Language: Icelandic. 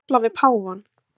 Að tefla við páfann